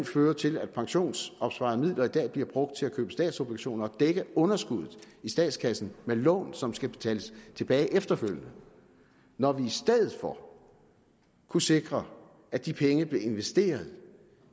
fører til at pensionsopsparingsmidler i dag bliver brugt til at købe statsobligationer og dække underskuddet i statskassen med lån som skal betales tilbage efterfølgende når vi i stedet for kunne sikre at de penge blev investeret